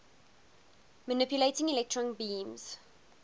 manipulating electron beams